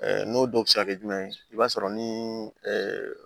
N'o dɔw bɛ se ka kɛ jumɛn ye i b'a sɔrɔ ni